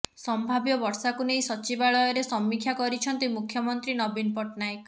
ସମ୍ଭାବ୍ୟ ବର୍ଷାକୁ ନେଇ ସଚିବାଳୟରେ ସମୀକ୍ଷା କରିଛନ୍ତି ମୁଖ୍ୟମନ୍ତ୍ରୀ ନବୀନ ପଟ୍ଟନାୟକ